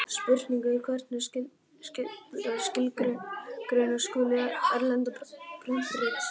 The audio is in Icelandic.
Spurning er hvernig skilgreina skuli erlend prentrit.